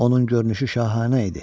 Onun görünüşü şahanə idi.